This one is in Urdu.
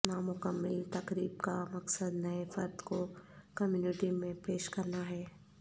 نامکمل تقریب کا مقصد نئے فرد کو کمیونٹی میں پیش کرنا ہے